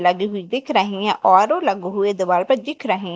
लगे भी दिख रहे हैं और वो हुए दीवार पे दिख रहे--